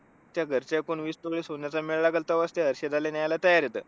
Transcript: चा घरच्यां पण विस तोळे सोन्याचा मेळ लागेल तेव्हाच ते हर्षदाला न्ह्याला तयार होतात.